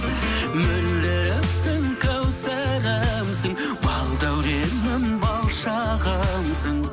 мөлдірімсің кәусәрімсің балдәуренім бал шағымсың